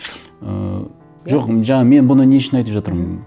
ыыы жоқ жаңа мен бұны не үшін айтып жатырмын мхм